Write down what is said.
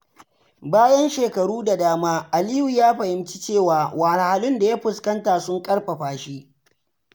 Bayan shekaru da dama, Aliyu ya fahimci cewa wahalhalun da ya fuskanta sun ƙarfafa shi.